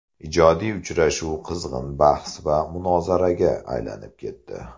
Ijodiy uchrashuv qizg‘in bahs va munozaraga aylanib ketdi.